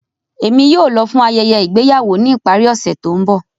Emi yóò lọ fun ayẹyẹ igbeyawo ni ipari ose to nbọ